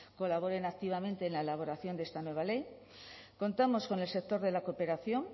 colaboren activamente en la elaboración de esta nueva ley contamos con el sector de la cooperación